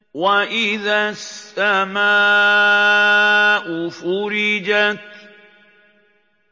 وَإِذَا السَّمَاءُ فُرِجَتْ